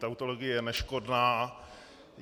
Tautologie je neškodná.